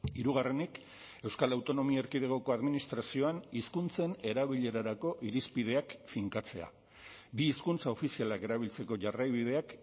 hirugarrenik euskal autonomia erkidegoko administrazioan hizkuntzen erabilerarako irizpideak finkatzea bi hizkuntza ofizialak erabiltzeko jarraibideak